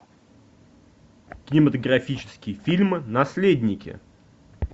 кинематографический фильм наследники